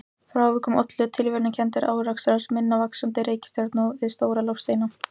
Frávikunum ollu tilviljanakenndir árekstrar hinna vaxandi reikistjarna við stóra loftsteina.